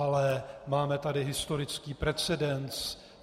Ale máme tady historický precedens.